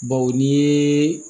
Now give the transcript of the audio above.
Bawo n'i ye